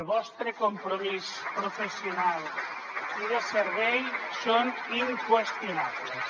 vostre compromís professional i de servei són inqüestionables